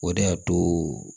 O de y'a to